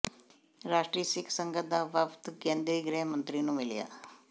ਰਾਸ਼ਟਰੀ ਸਿੱਖ ਸੰਗਤ ਦਾ ਵਫ਼ਦ ਕੇਂਦਰੀ ਗ੍ਰਹਿ ਮੰਤਰੀ ਨੂੰ ਮਿਲਿਆ